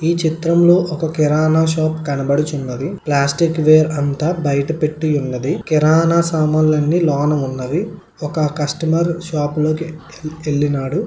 ఈ చిత్రంలో ఒక కిరాణా షాప్ కనబడుచున్నది. ప్లాస్టిక్ వెర్ అంతా బయట పెట్టి ఉన్నది. కిరాణా సామాన్లన్నీ లోన ఉన్నది. ఒక కష్టమర్ షాప్ లోకి వెళ్ళినాడు.